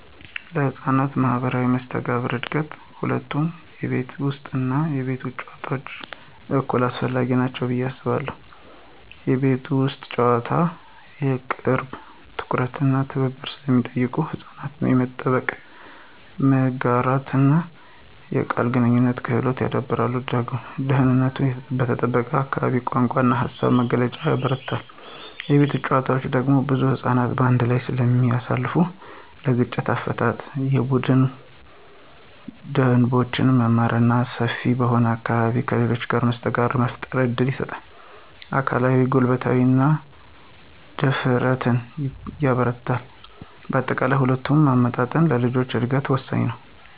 ለሕፃናት ማኅበራዊ መስተጋብር እድገት ሁለቱም የቤት ውስጥ እና የቤት ውጭ ጨዋታዎች እኩል አስፈላጊ ናቸው ብዬ አስባለሁ። የቤት ውስጥ ጨዋታዎች የቅርብ ትኩረት እና ትብብር ስለሚጠይቁ ሕፃናት የመጠበቅ፣ የመጋራትና የቃል ግንኙነት ክህሎቶችን ያዳብራሉ። ደህንነቱ በተጠበቀ አካባቢ የቋንቋ እና የሃሳብ መግለጫን ያበረታታል። የቤት ውጭ ጨዋታዎች ደግሞ ብዙ ሕፃናትን በአንድ ጊዜ ስለሚያሳትፉ ለግጭት አፈታት፣ የቡድን ደንቦችን መማር እና ሰፊ በሆነ አካባቢ ከሌሎች ጋር መስተጋብር ለመፍጠር እድል ይሰጣል። አካላዊ ጉልበትንና ደፋርነትንም ያበረታታል። በአጠቃላይ፣ ሁለቱን ማመጣጠን ለልጆች እድገት ወሳኝ ነው።